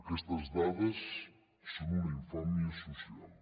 aquestes dades són una infàmia social